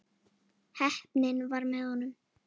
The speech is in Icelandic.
Heppnin var með honum.